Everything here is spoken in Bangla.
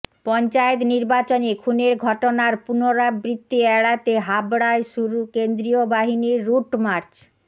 পঞ্চায়েত নির্বাচনে খুনের ঘটনার পুনরাবৃত্তি এড়াতে হাবড়ায় শুরু কেন্দ্রীয় বাহিনীর রুটমার্চ